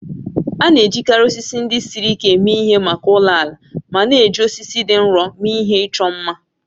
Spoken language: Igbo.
A na-ejikarị osisi ndị siri ike eme ihe maka ụlọ ala ma na-eji osisi dị nro mee ihe ịchọ mma.